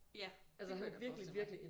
Ja det kan jeg godt forestille mig